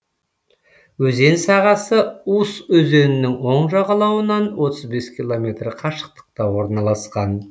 өзен сағасы ус өзенінің оң жағалауынан отыз бес километр қашықтықта орналасқан